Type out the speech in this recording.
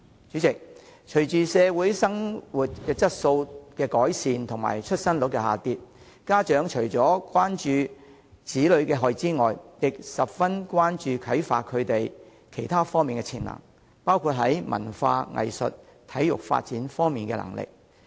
主席，隨着社會的生活質素改善及出生率下降，家長除了關注子女的學業外，亦十分關注如何啟發他們其他方面的潛能，包括在文化、藝術及體育發展方面的能力。